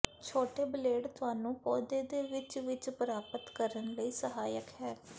ਛੋਟੇ ਬਲੇਡ ਤੁਹਾਨੂੰ ਪੌਦੇ ਦੇ ਵਿੱਚ ਵਿੱਚ ਪ੍ਰਾਪਤ ਕਰਨ ਲਈ ਸਹਾਇਕ ਹੈ